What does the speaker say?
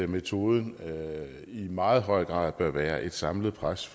metoden i meget høj grad bør være et samlet pres